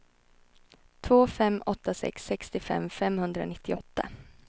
två fem åtta sex sextiofem femhundranittioåtta